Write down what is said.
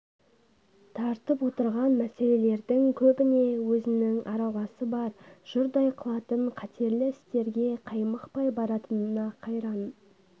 тартып отырған мәселелердің көбіне өзінің араласы бар жұрдай қылатын қатерлі істерге қаймықпай баратынына қайран